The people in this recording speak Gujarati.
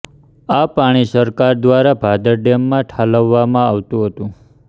આ પાણી સરકાર દ્વારા ભાદર ડેમમાં ઠાલવવામાં આવતું હતું